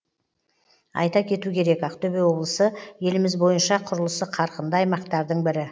айта кету керек ақтөбе облысы еліміз бойынша құрылысы қарқынды аймақтардың бірі